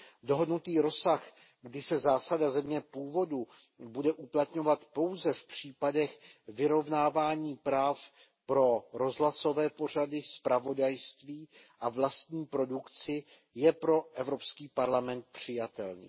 Dohodnutý rozsah, kdy se zásada země původu bude uplatňovat pouze v případech vyrovnávání práv pro rozhlasové pořady, zpravodajství a vlastní produkci, je pro Evropský parlament přijatelný.